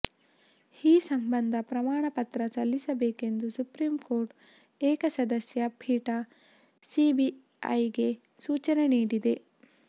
ಈ ಸಂಬಂಧ ಪ್ರಮಾಣ ಪತ್ರ ಸಲ್ಲಿಸಬೇಕೆಂದು ಸುಪ್ರೀಂ ಕೋರ್ಟ್ ಏಕಸದಸ್ಯ ಪೀಠ ಸಿಬಿಐಗೆ ಸೂಚನೆ ನೀಡಿದೆ